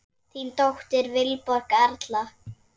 Þín dóttir, Vilborg Erla.